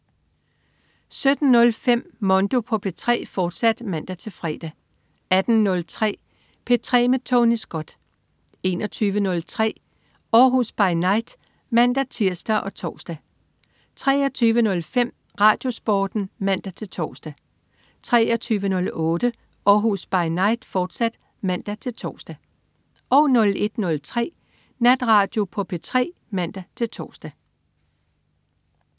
17.05 Mondo på P3, fortsat (man-fre) 18.03 P3 med Tony Scott 21.03 Århus By Night (man-tirs og tors) 23.05 RadioSporten (man-tors) 23.08 Århus By Night, fortsat (man-tors) 01.03 Natradio på P3 (man-tors)